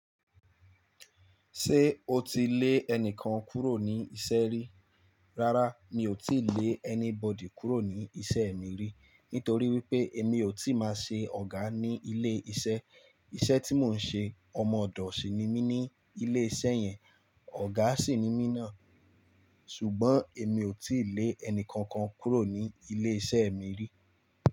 Ṣé o ti lé ẹnìkan kúrò ní isẹ́ rí? Rárá mi ò tíì lé anybody kúrò ní isẹ́ mi rí, nítorí wípé mi ò tíì máa ṣe ọ̀gá ní ilé isẹ́. Isẹ́ tí mò ń ṣe, ọmọ ọ̀dọ̀ sì ni mí ní ilé isẹ́ yẹn, ọ̀gá sì ni mí náà. Ṣùgbọ́n èmi ò tí lè ẹni kankan kúrò ní ilé isẹ́ mi rí.